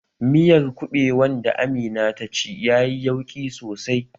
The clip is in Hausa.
Miyar kuɓewan da Amina ta ci yayi yauƙi sosai